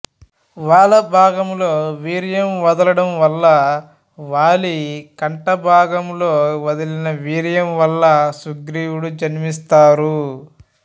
వాల భాగములో వీర్యం వదలడం వల్ల వాలి కంఠ భాగంలో వదిలిన వీర్యం వల్ల సుగ్రీవుడు జన్మిస్తారు